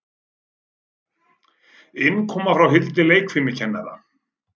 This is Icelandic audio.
Innkoma hjá Hildi leikfimikennara.